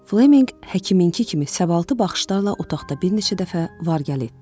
Flemminq həkiminki kimi səbatlı baxışlarla otaqda bir neçə dəfə var gəl etdi.